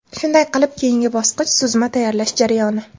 Shunday qilib, keyingi bosqich suzma tayyorlash jarayoni.